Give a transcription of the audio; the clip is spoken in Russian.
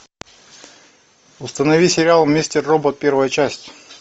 установи сериал мистер робот первая часть